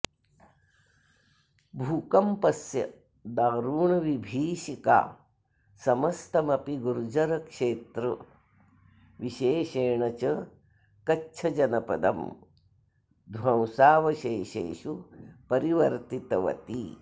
भूकम्पस्य दारुणविभीषिका समस्तमपि गुर्जरक्षेत्र विशेषेण च कच्छजनपदं ध्वंसावशेषेषु परिवर्तितवती